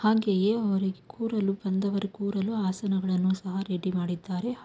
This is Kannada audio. ಹಾಗೆಯೆ ಅವರಿಗೆ ಬಂದವರು ಕೂರಲು ಹಾಸನಗಳನ್ನು ಸಹ ರೆಡಿ ಮಾಡಿದ್ದಾರೆ.